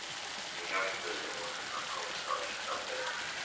Þau hjálpuðu honum að komast á rétta braut.